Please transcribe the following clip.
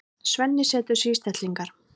Svenni setur sig í stellingar.